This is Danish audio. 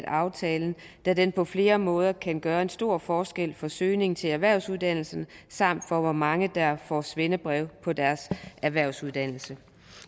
aftalen da den på flere måder kan gøre en stor forskel for søgningen til erhvervsuddannelserne samt for hvor mange der får et svendebrev på deres erhvervsuddannelse